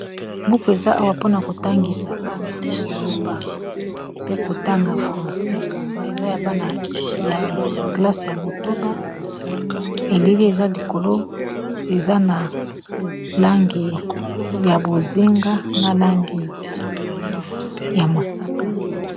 Buku eza awa mpona kotangisa bana koloba pe kotanga français eza ya bana ya klase ya motoba elili eza likolo eza na langi ya bozinga na langi ya mosaka.